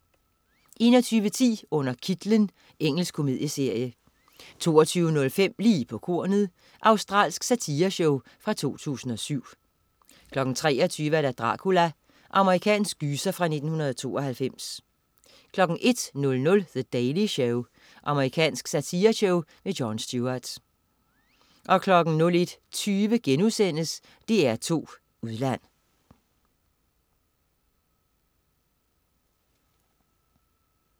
21.10 Under kitlen. Engelsk komedieserie 22.05 Lige på kornet. Australsk satireshow fra 2007 23.00 Dracula. Amerikansk gyser fra 1992 01.00 The Daily Show. Amerikansk satireshow. Jon Stewart 01.20 DR2 Udland*